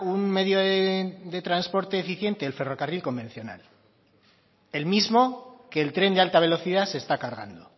un medio de transporte eficiente el ferrocarril convencional el mismo que el tren de alta velocidad se está cargando